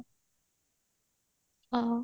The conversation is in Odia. ଅ